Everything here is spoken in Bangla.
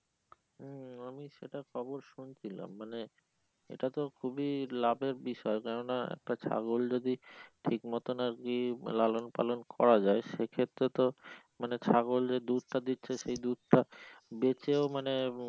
হম আমি সেটার খবর শুনছিলাম মানে এইটা তো খুবই লাভের বিষয় কেনো নাহ একটা ছাগল যদি ঠিক মত আর কি লালন পালন করা যায় সেক্ষেত্রে তো মানি ছাগল দুধটা দিচ্ছে সে দুধটা বেঁচেও মানে